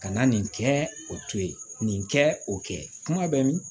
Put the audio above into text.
Ka na nin kɛ o to ye nin kɛ o kɛ kuma bɛ min